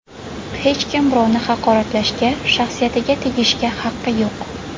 Hech kim birovni haqoratlashga, shaxsiyatiga tegishga haqqi yo‘q.